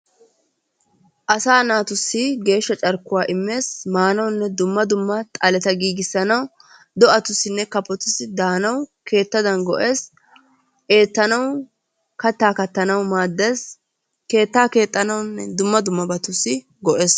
Asaa naatussi geeshsha carkkuwaa immees. maanawunne dumma dumma xaaletta giigisanawu do"atusinne kafotussi daanawu keettadan go"ees. Eettanawu kaattaa kaattanwu maaddees. Keettaa keexxanawu dumma dummabatussi go"ees.